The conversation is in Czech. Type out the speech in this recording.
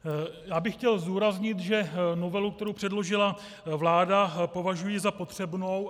Já bych chtěl zdůraznit, že novelu, kterou předložila vláda, považuji za potřebnou.